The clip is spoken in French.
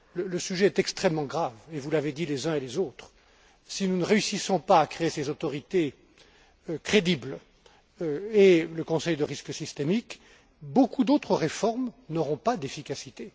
Le sujet est extrêmement grave et, vous l'avez dit les uns et les autres, si nous ne réussissons pas à créer des autorités crédibles et le Comité du risque systémique, beaucoup d'autres réformes n'auront pas d'efficacité.